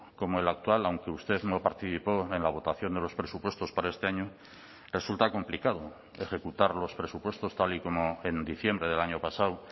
como el actual aunque usted no participó en la votación de los presupuestos para este año resulta complicado ejecutar los presupuestos tal y como en diciembre del año pasado